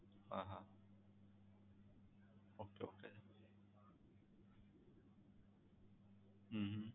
હા હા okay okay હમ